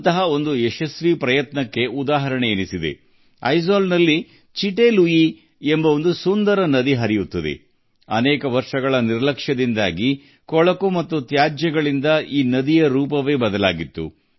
ಐಜ್ವಾಲ್ನಲ್ಲಿ ಸುಂದರವಾದ ಚಿಟ್ಟೆ ಲುಯಿ ನದಿ ಇದೆ ಇದು ವರ್ಷಗಳ ನಿರ್ಲಕ್ಷ್ಯದಿಂದಾಗಿ ಕೊಳಕಿನ ಮತ್ತು ಕಸದ ರಾಶಿಯಾಗಿ ಮಾರ್ಪಟ್ಟಿತ್ತು